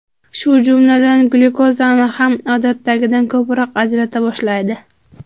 Shu jumladan glyukozani ham odatdagidan ko‘proq ajrata boshlaydi.